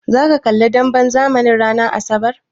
Zaka kalli demben zamanin ranar asabar?